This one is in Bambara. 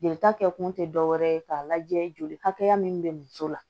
Jelita kɛ kun te dɔwɛrɛ ye k'a lajɛ joli hakɛya min be muso la